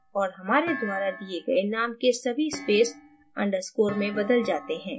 और हमारे द्वारा दिए गए name के सभी spaces underscore में बदल जाते हैं